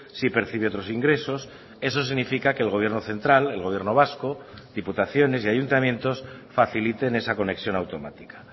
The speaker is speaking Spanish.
si percibe otros ingresos eso significa que el gobierno central el gobierno vasco diputaciones y ayuntamientos faciliten esa conexión automática